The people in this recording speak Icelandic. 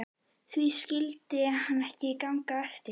Því skyldi það ekki ganga eftir?